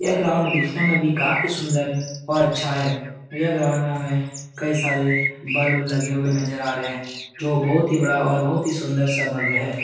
यह ग्राउंड दिखने में भी काफी सुन्दर और अच्छा है यह ग्राउंड हमें कई सारे ब्लब लगे हुए नज़र आ रहे हैं जो बहुत ही बड़ा और बहुत सुन्दर सा बल्ब है ।